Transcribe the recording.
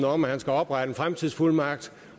om at han skal oprette en fremtidsfuldmagt